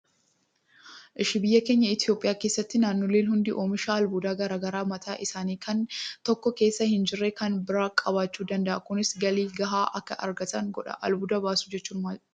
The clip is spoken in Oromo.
Biyya keenya Itoophiyaa keessatti naannoleen hundi oomisha albuudaa garaagaraa kan mataa isaanii kan tokko keessa hin jirre kan biraa qabaachuu danda'a. Kunis galii gahaa akka argatan godha. Albuuda baasuu jechuun maali?